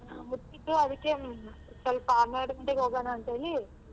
ಹಾ ಮುಚ್ಚಿತ್ತು ಅದಕ್ಕೆ ಸ್ವಲ್ಪ ಹನ್ನೆರಡ್ ಗಂಟೆಗೆ ಹೋಗೋಣ ಅಂತ ಹೇಳಿ.